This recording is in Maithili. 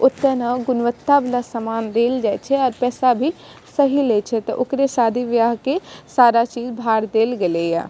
उत्तम और गुणवत्ता वाला सामान मिल जाइ छे और पैसा भी सही लेइ छे तो ओकरे शादी बियाह के सारा चीज उधर देल गेल या।